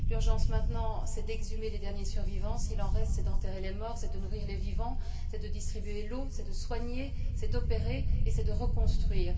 L'urgence maintenant, c'est d'exhumer les derniers survivants, s'il en reste, c'est d'enterrer les morts, c'est de nourrir les vivants, c'est de distribuer de l'eau, c'est de soigner, c'est d'opérer et c'est de reconstruire.